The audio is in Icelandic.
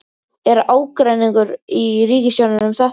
Er ágreiningur í ríkisstjórninni um þetta?